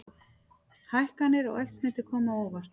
Hækkanir á eldsneyti koma á óvart